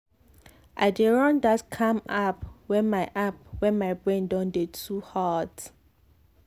i dey run that calm app when my app when my brain don dey too hot.